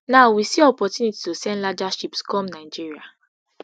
now we see opportunity to send larger ships come nigeria